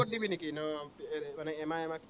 মানে এমাহ এমাহকে